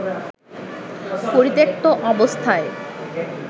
পরিত্যক্ত অবস্থায়